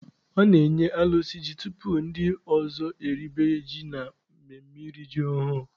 A na-enye alụsị ji tupu ndị ọzọ eribe ji na mmemme iri ji ọhụrụ.